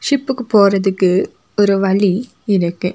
டிப்புக்கு போறதுக்கு ஒரு வழி இருக்கு.